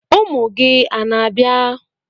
Ụmụ gị ana-abịa?